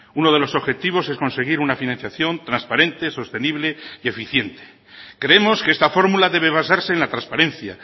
uno de los objetivos es conseguir una financiación transparente sostenible y eficiente creemos que esta fórmula debe basarse en la transparencia